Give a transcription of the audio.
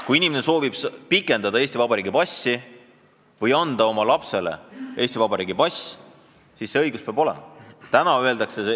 Kui Eesti kodanik soovib Eesti Vabariigi passi pikendada või taotleda oma lapsele Eesti Vabariigi passi, siis see õigus peab tal olema.